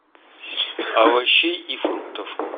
овощей и фруктов